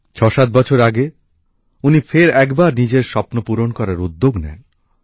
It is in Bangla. ৬৭ বছর আগে উনি ফের একবার নিজের স্বপ্নপূরণ করার উদ্যোগ নেন